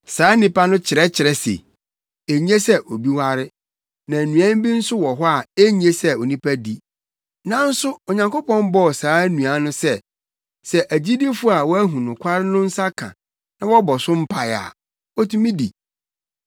Saa nnipa no kyerɛkyerɛ se enye sɛ obi ware, na nnuan bi nso wɔ hɔ a enye sɛ onipa di. Nanso Onyankopɔn bɔɔ saa nnuan no sɛ, sɛ agyidifo a wɔahu nokware no nsa ka na wɔbɔ so mpae a, wotumi di.